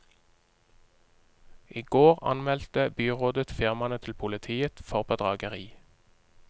I går anmeldte byrådet firmaene til politiet for bedrageri.